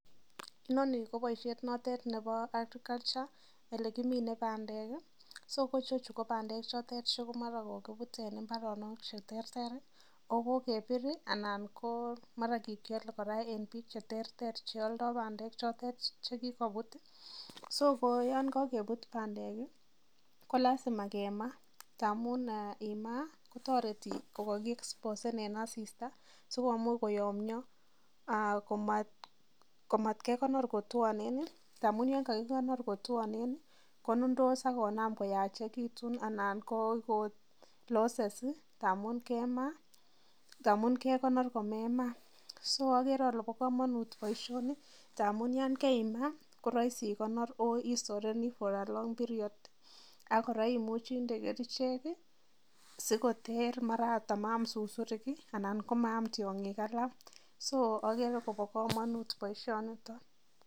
Inoni ko boishet notet nebo agriculture elekimine bandek, so ko chechu ko bandek chotet chemara kokibut en imbaronok cheterter oo ko kebir anan komara kikiole kora en biik cheterter cheoldo bandek chotet chekikobut, so koyoon kokebut bandek ko lazima kemaa ndamun imaa kotoreti ko koki exposen en asista sikomuch koyomnyo komat kekonor kotwonen amun yoon kakikonor kotwonen konundos ak konam koyachekitun anan ko koon loses kemaa ndamun kekonor ko mema so okere olee bo komonut boishoni ndamun yaan keima koroisi ikonor oo isoreni for a long period ak kora imuchi inde kerichek sikoter mara oot amaam susurik anan ko maam tiongik alaak, so okere kobokomonut boishonion.